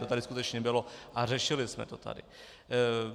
To tady skutečně bylo a řešili jsme to tady.